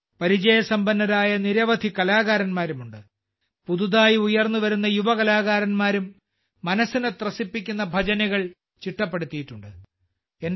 ഇതിൽ പരിചയസമ്പന്നരായ നിരവധി കലാകാരന്മാരുണ്ട് പുതുതായി ഉയർന്നുവരുന്ന യുവ കലാകാരന്മാരും മനസ്സിനെ ത്രസിപ്പിക്കുന്ന ഭജനുകൾ ചിട്ടപ്പെടുത്തിയിട്ടുണ്ട്